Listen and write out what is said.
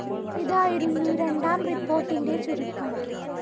ഇതായിരുന്നു രണ്ടാം റിപ്പോർട്ടിന്റെ ചുരുക്കം